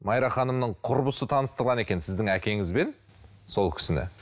майра ханымның құрбысы таныстырған екен сіздің әкеңізбен сол кісіні